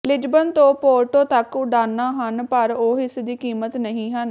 Lisbon ਤੋਂ Porto ਤੱਕ ਉਡਾਣਾਂ ਹਨ ਪਰ ਉਹ ਇਸ ਦੀ ਕੀਮਤ ਨਹੀਂ ਹਨ